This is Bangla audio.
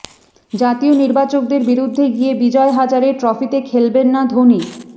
জাতীয় নির্বাচকদের বিরুদ্ধে গিয়ে বিজয় হাজারে ট্রফিতে খেলবেন না ধোনি